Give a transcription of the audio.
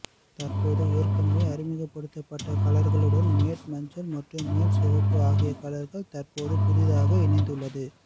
தற்போது ஏற்கனவே அறிமுகப்படுத்தப்பட்ட கலர்களுடன் மேட் மஞ்சள் மற்றும் மேட் சிவப்பு ஆகிய கலர்கள் தற்போது புதிதாக இணைந்துள்ளது